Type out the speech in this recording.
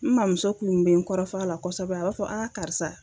N maa muso kun be n kɔrɔfɔ a la kosɛbɛ a b'a fɔ aa karisa